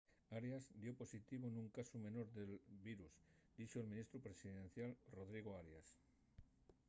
arias dio positivo nun casu menor de virus dixo’l ministru presidencial rodrigo arias